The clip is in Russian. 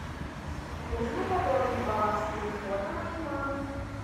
нужно пополнить баланс телефона моей мамы